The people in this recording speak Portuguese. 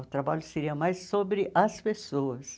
O trabalho seria mais sobre as pessoas.